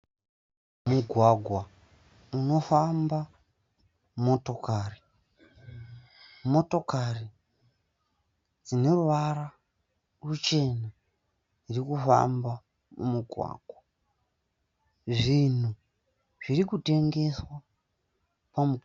Mugwagwa unofamba motokari. Motokari. dzineruvara ruchena dziri kufamba mumugwagwa. Zvinhu zvirikutengeswa pamugwagwa